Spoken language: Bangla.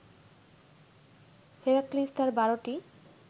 হেরাক্লিস তার বারোটি